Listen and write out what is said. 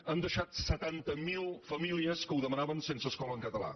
han deixat setanta mil famílies que ho demanaven sense escola en català